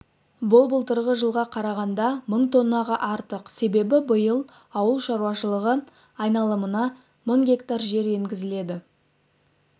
бұл былтырғы жылға қарағанда мың тоннаға артық себебі биыл ауыл шаруашылығы айналымына мың гектар жер енгізіледі